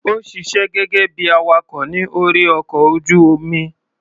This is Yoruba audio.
Ó ṣiṣé gẹ́gẹ́ bí i awakọ̀ ní orí ọkọ̀ ojú-omi.